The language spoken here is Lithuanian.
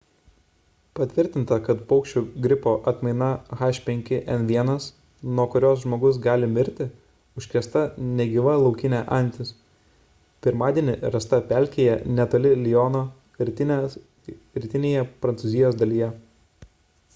patvirtinta kad paukščių gripo atmaina h5n1 nuo kurios žmogus gali mirti užkrėsta negyva laukinė antis pirmadienį rasta pelkėje netoli liono rytinėje prancūzijos dalyje